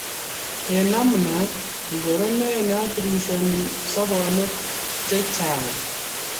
Eng namna ngoro ne athirishani sobonwek chak